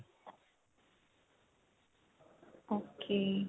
ok